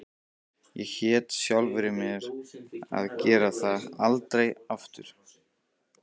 Ég hét sjálfri mér því að gera þetta aldrei aftur.